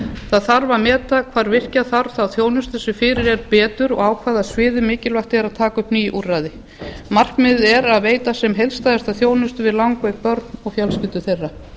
það þarf að meta hvar virkja þarf þá þjónustu sem fyrir er betur og á hvaða sviðum mikilvægt er að taka upp ný úrræði markmiðið er að veita sem heildstæðasta þjónustu við langveik börn og fjölskyldur þeirra